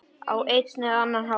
Á einn eða annan hátt.